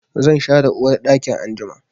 Zan share uwarɗakin anjima.